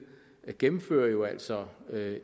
gennemfører jo altså